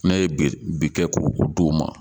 N'a ye bi kɛ k'o d'o ma